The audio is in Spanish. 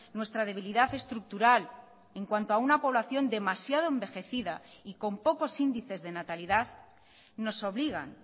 nuestra debilidad estructural en cuanto a una población demasiado envejecida y con pocos índices de natalidad nos obligan